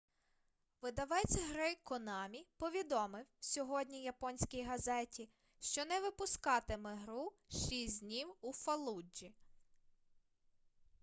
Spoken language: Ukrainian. видавець гри конамі повідомив сьогодні японській газеті що не випускатиме гру шість днів у фаллуджі